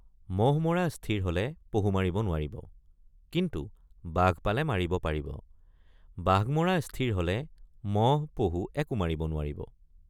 মহ মৰা স্থিৰ হলে পহু মাৰিব নোৱাৰিব কিন্তু বাঘ পালে মাৰিব পাৰিব বাঘ মৰা স্থিৰ হলে মহ পহু একো মাৰিব নোৱাৰিব।